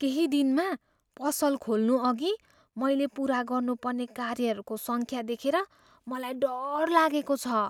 केही दिनमा पसल खोल्नुअघि मैले पुरा गर्नुपर्ने कार्यहरूको सङ्ख्या देखेर मलाई डर लागेको छ।